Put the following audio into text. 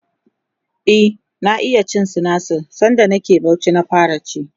e na iya cin sinasir sanda nake Bauchi na fara ci